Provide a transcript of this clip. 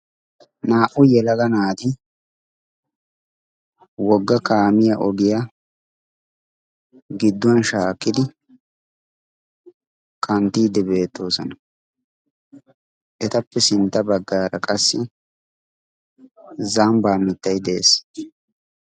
naa''u yelaga naati wogga kaamiya ogiyaa gidduwan shaakkidi kanttiidi beettoosana etappe sintta baggaara qassi zambbaa mittayi de'ees